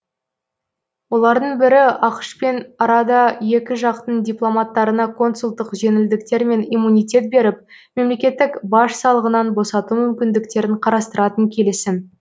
олардың бірі ақш пен арада екі жақтың дипломаттарына консулдық жеңілдіктер мен иммунитет беріп мемлекеттік баж салығынан босату мүмкіндіктерін қарастыратын келісім